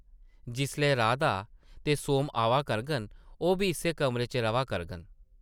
जिसलै राधा ते सोम आवा करङन, ओह् बी इस्सै कमरे च रʼवा करङन ।